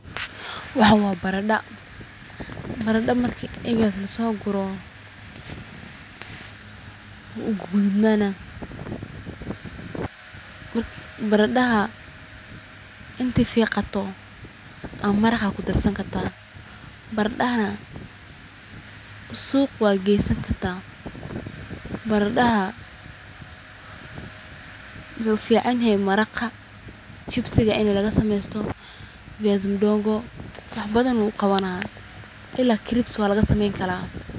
Waxan waa baradha, baradha marki egas laso guro wuu gudud naana baradhaha inti fiiqato aa maraqa kudarsan kartaa, baradhahana suq waa geysan karta, baradhada wuxuu ufican yehe maraqa chibsiga ini laga sameeysto, viazi madogo, wax badan uu qabana ila crips waa laga sameeysta